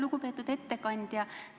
Lugupeetud ettekandja!